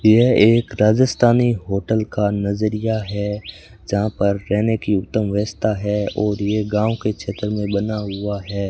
यह एक राजस्थानी होटल का नजरिया है जहां पर रहने की उत्तम व्यवस्था है और ये गांव के क्षेत्र में बना हुआ है।